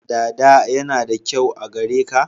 Dada yana da kyau a gare ka